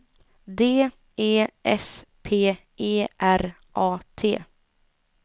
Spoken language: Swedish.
D E S P E R A T